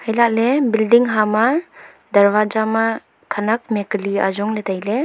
elahley bilding hama darwaja ma khanak mihak ali ajong ley tailey.